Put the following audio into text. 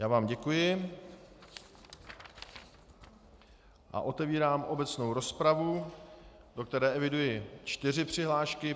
Já vám děkuji a otevírám obecnou rozpravu, do které eviduji čtyři přihlášky.